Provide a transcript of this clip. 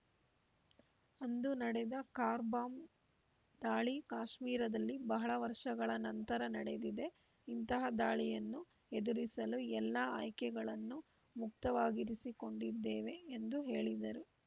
ಅಂದು ನಡೆದ car bomb ದಾಳಿ ಕಾಶ್ಮೀರದಲ್ಲಿ ಬಹಳ ವರ್ಷಗಳ ನಂತರ ನಡೆದಿದೆ ಇಂತಹ ದಾಳಿಯನ್ನು ಎದುರಿಸಲು ಎಲ್ಲಾ ಆಯ್ಕೆಗಳನ್ನೂ ಮುಕ್ತವಾಗಿರಿಸಿಕೊಂಡಿದ್ದೇವೆ ಎಂದು ಹೇಳಿದರು